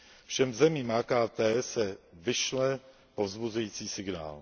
Všem zemím AKT se vyšle povzbuzující signál.